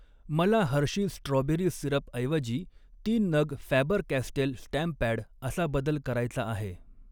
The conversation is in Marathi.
मला हर्षीज स्ट्रॉबेरी सिरपऐवजी तीन नग फॅबर कॅस्टेल स्टॅम्प पॅड असा बदल करायचा आहे.